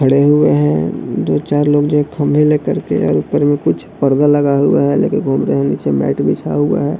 खड़े हुए हैं दो-चार लोग जो है खम्भे लेकर के ऊपर में कुछ पर्दा लगा हुआ है लेकर घूम रहे हैं नीचे मेट बिछा हुआ है ।